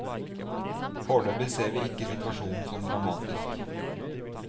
Foreløpig ser vi ikke situasjonen som dramatisk.